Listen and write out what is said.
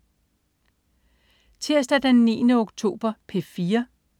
Tirsdag den 9. oktober - P4: